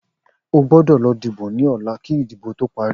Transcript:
O gbódò lọ dìbò ní ọ̀la kí ìdìbò tó parí